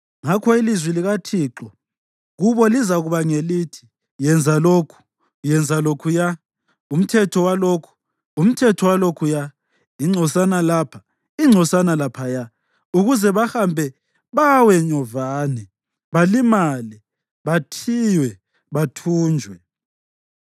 Ngakho ilizwi likaThixo kubo lizakuba ngelithi: Yenza lokhu, yenza lokhuya, umthetho walokhu, umthetho walokhuya, ingcosana lapha, ingcosana laphaya, ukuze bahambe bawe nyovane, balimale, bathiywe, bathunjwe.